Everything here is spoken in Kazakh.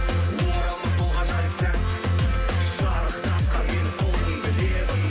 оралмас сол ғажайып сәт шарықтатқан мені сол күнгі лебің